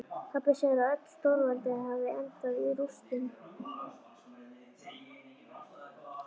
Pabbi segir að öll stórveldi hafi endað í rústum.